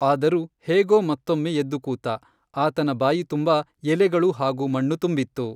ಆದರೂ, ಹೇಗೋ ಮತ್ತೊಮ್ಮೆ ಎದ್ದು ಕೂತ, ಆತನ ಬಾಯಿ ತುಂಬಾ ಎಲೆಗಳು ಹಾಗೂ ಮಣ್ಣು ತುಂಬಿತ್ತು.